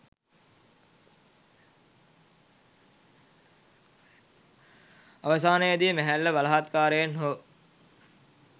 අවසානයේදී මැහැල්ල බලහත්කාරයෙන් හෝ